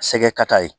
Sɛgɛ kata ye